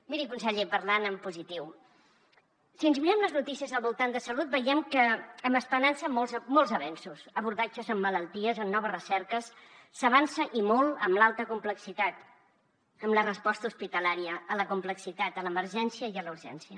miri conseller parlant en positiu si ens mirem les notícies al voltant de salut veiem amb esperança molts avenços abordatges en malalties en noves recerques s’avança i molt amb l’alta complexitat amb la resposta hospitalària a la complexitat a l’emergència i a la urgència